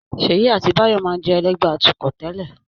Ṣèyí àti Báyọ̀ máa ń jẹ́ ẹlẹ́gbẹ̀ẹ́ atukọ̀ tẹ́lẹ̀